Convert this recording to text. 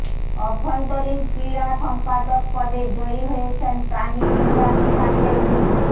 অভ্যন্তরীণ ক্রীড়া সম্পাদক পদে জয়ী হয়েছেন প্রাণিবিদ্যা বিভাগের মো